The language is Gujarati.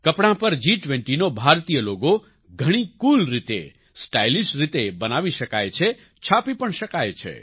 કપડાં પર જી20નો ભારતીય લોગો ઘણી કૂલ રીતે સ્ટાઇલિશ રીતે બનાવી શકાય છે છાપી પણ શકાય છે